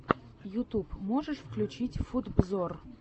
ютюб можешь включить футброз